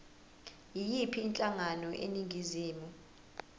yiyiphi inhlangano eningizimu